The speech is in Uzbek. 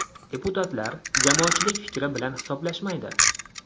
Deputatlar, jamoatchilik fikri bilan hisoblashmaydi.